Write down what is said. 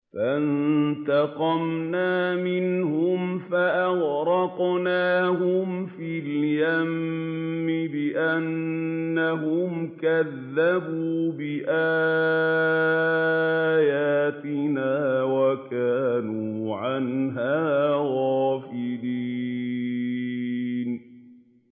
فَانتَقَمْنَا مِنْهُمْ فَأَغْرَقْنَاهُمْ فِي الْيَمِّ بِأَنَّهُمْ كَذَّبُوا بِآيَاتِنَا وَكَانُوا عَنْهَا غَافِلِينَ